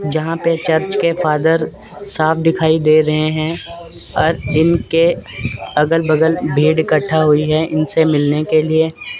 जहां पे चर्च के फादर साफ दिखाई दे रहे है ओर इनके अलग बगल भीड़ इकट्ठा हुई है इनसे मिलने के लिए।